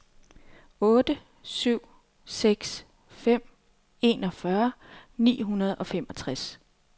otte syv seks fem enogfyrre ni hundrede og femogtres